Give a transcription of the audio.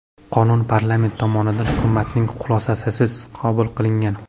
Qonun parlament tomonidan hukumatning xulosasisiz qabul qilingan.